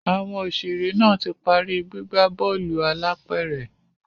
Àwọn òṣèré náà ti parí gbígbà bóòlù álàpẹ̀rẹ̀